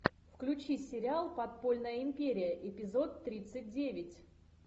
включи сериал подпольная империя эпизод тридцать девять